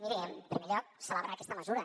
miri en primer lloc celebrar aquesta mesura